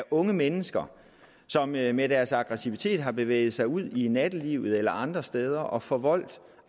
unge mennesker som med med deres aggressivitet har bevæget sig ud i nattelivet eller andre steder og forvoldt